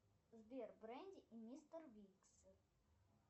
сбер бренди и мистер бинкс